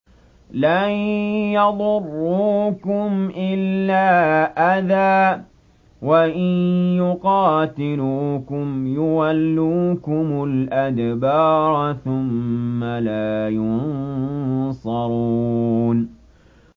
لَن يَضُرُّوكُمْ إِلَّا أَذًى ۖ وَإِن يُقَاتِلُوكُمْ يُوَلُّوكُمُ الْأَدْبَارَ ثُمَّ لَا يُنصَرُونَ